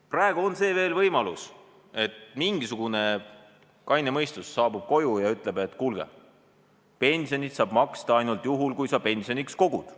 Praegu on veel see võimalus, et mingisugune kaine mõistus saabub koju ja ütleb, et kuulge, pensioni saab maksta ainult juhul, kui sa pensioniks kogud.